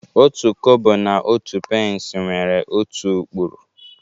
Otu Kobo na otu pence nwere otu ụkpụrụ